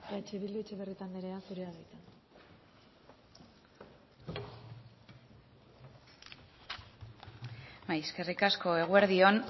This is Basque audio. eh bildu etxeberrieta anderea zurea da hitza eskerrik asko eguerdi on